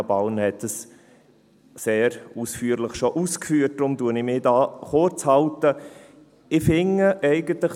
Tanja Bauer hat das schon sehr ausführlich ausgeführt, daher halte ich mich hier kurz.